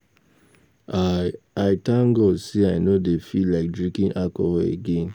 I I thank God say I no dey feel like drinking alcohol again